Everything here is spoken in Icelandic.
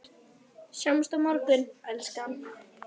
Sjáumst á morgun, elskan.